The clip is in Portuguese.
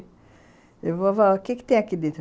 vovô o que que tem aqui dentro?